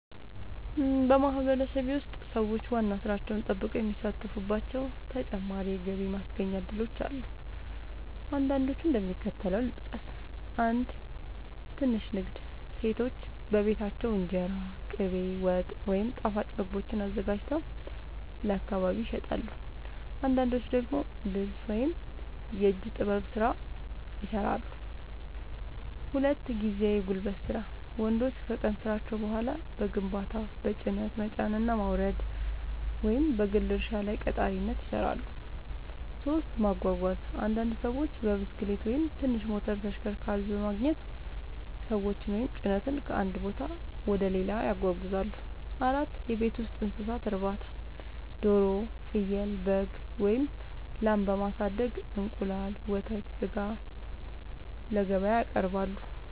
በማህበረሰቤ ውስጥ ሰዎች ዋና ሥራቸውን ጠብቀው የሚሳተፉባቸው ተጨማሪ የገቢ ማስገኛ እድሎች አሉ። አንዳንዶቹን እንደሚከተለው ልጠቅስ፦ 1. ትንሽ ንግድ – ሴቶች በቤታቸው እንጀራ፣ ቅቤ፣ ወጥ ወይም ጣፋጭ ምግቦችን አዘጋጅተው ለአካባቢ ይሸጣሉ። አንዳንዶች ደግሞ ልብስ ወይም የእጅ ጥበብ ሥራዎችን ይሠራሉ። 2. ጊዜያዊ የጉልበት ሥራ – ወንዶች ከቀን ሥራቸው በኋላ በግንባታ፣ በጭነት መጫንና ማውረድ፣ ወይም በግል እርሻ ላይ ቀጣሪነት ይሠራሉ። 3. ማጓጓዝ – አንዳንድ ሰዎች ብስክሌት ወይም ትንሽ ሞተር ተሽከርካሪ በማግኘት ሰዎችን ወይም ጭነት ከአንድ ቦታ ወደ ሌላ ያጓጉዛሉ። 4. የቤት ውስጥ እንስሳት እርባታ – ዶሮ፣ ፍየል፣ በግ ወይም ላም በማሳደግ እንቁላል፣ ወተት ወይም ሥጋ ለገበያ ያቀርባሉ።